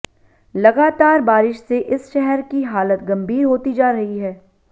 लगातार बारिश से इस शहर की हालत गम्भीर होती जा रही है